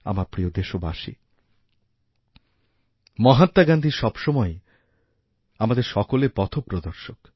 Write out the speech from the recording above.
আমার প্রিয় দেশবাসীমহাত্মা গান্ধী সবসময়েই আমাদের সকলের পথপ্রদর্শক